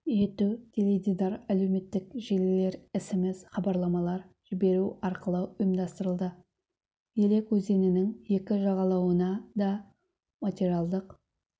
ету теледидар әлеуметтік желілер смс хабарламалар жіберу арқылы ұйымдастырылды елек өзенінің екі жағалауына да материалдық